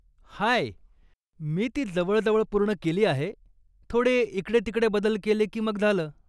हाय, मी ती जवळजवळ पूर्ण केली आहे, थोडे इकडे तिकडे बदल केले की मग झालं.